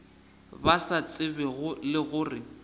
ba sa tsebego le gore